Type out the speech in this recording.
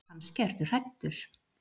Kannski ertu hræddur.